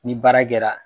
Ni baara kɛra